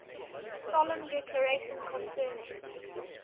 solemn declaration concerning